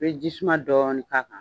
I bɛ jisuman dɔɔni k' a kan.